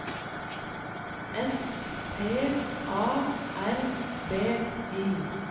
S P A R B Y